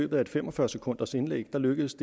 løbet af et fem og fyrre sekunders indlæg lykkedes